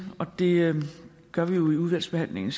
og det gør vi jo i udvalgsbehandlingen